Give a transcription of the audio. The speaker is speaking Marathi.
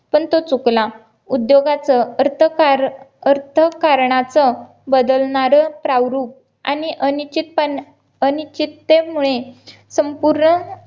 पण तो चुकला उदयोगाचं अर्थकारण अर्थकारणच बदलणारं प्रवृत्त आणि अनिश्चितपणे अनिश्चित्ते मुळे संपूर्ण